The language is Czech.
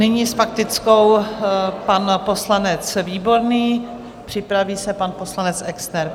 Nyní s faktickou pan poslanec Výborný, připraví se pan poslanec Exner.